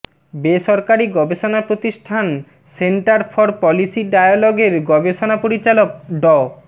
বেসরকারি গবেষণা প্রতিষ্ঠান সেন্টার ফর পলিসি ডায়ালগের গবেষণা পরিচালক ড